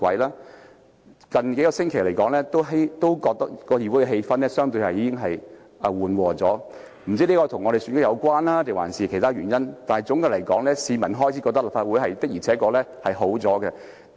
我覺得議會近數星期的氣氛已經變得相對緩和，不知是否與選舉有關還是其他原因，但總括來說，市民開始覺得立法會的確改善了。